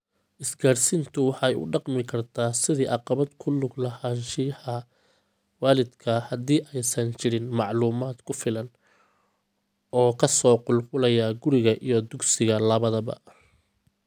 Isgaarsiintu waxay u dhaqmi kartaa sidii caqabad ku lug lahaanshiyaha waalidka haddii aysan jirin macluumaad ku filan oo ka soo qulqulaya guriga iyo dugsiga labadaba.